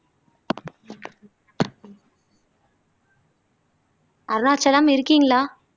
அருணாச்சலம் இருக்கீங்களா